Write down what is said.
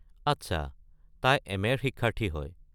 আচ্ছা, তাই এম.এ.-ৰ শিক্ষাৰ্থী হয়।